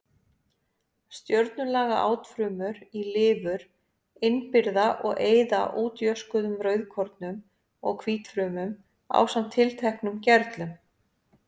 Stjörnulaga átfrumur í lifur innbyrða og eyða útjöskuðum rauðkornum og hvítfrumum ásamt tilteknum gerlum.